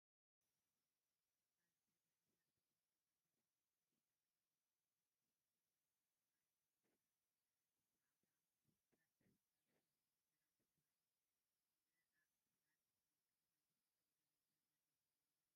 ኣብዚብሓሰር ዝተሸፈኑ ዓበይቲ ናይ ሕርሻ ግራውቲ ብመስርዕ ተሰሪዖም ይረኣዩ። ብመስርዕ ጻዕዳ ተርፕ ኣብ ሰፊሕ ግራት ይርአ፤ ንኣእካል ንምክልኻል ዝሕግዝ ደረጃ ዘለዎ ሜላ እዩ።